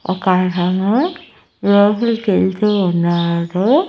ఒక అతను లోపలికి యెళ్తూ ఉన్నాడు.